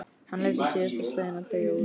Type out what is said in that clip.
Hann leyfði síðasta slaginu að deyja út.